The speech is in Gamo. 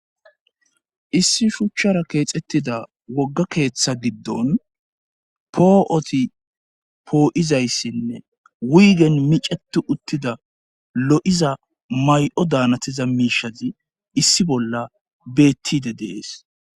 issi shuchchara keexettida wogga keeththa giddon poo7oti poo7izayssinne wiigen micetu uttida lo7iza may7o daanatiza miishazi issi bolla beettide dees